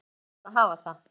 Jæja, það varð að hafa það.